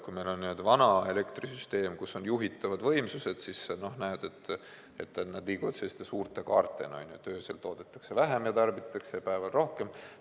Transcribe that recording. Kui meil on vana elektrisüsteem, kus on juhitavad võimsused, siis näed, et need liiguvad selliste suurte kaartena: öösel toodetakse ja tarbitakse vähem, ja päeval rohkem.